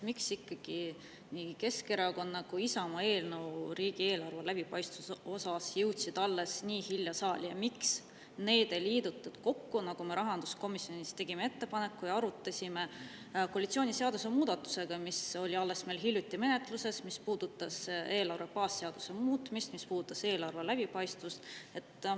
Miks ikkagi nii Keskerakonna kui ka Isamaa eelnõu riigieelarve läbipaistvuse kohta jõudsid alles nii hilja saali ja miks neid ei liidetud kokku, nagu me tegime rahanduskomisjonis ettepaneku, mida me arutasime seoses koalitsiooni seadusemuudatusega, mis oli alles hiljuti menetluses ja puudutas eelarve baasseaduse muutmist, eelarve läbipaistvust?